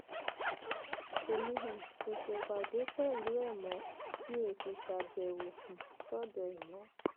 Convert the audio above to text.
èmi um ò ṣèpàdé pẹlú ẹ mọ mi ò sì ṣàbẹwò um sọdọ ẹ mọ